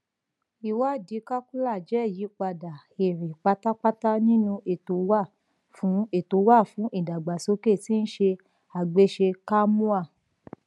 iwadii kakula jẹ iyipada ere patapata ninu eto wa fun eto wa fun idagbasoke ti ise agbese kamoa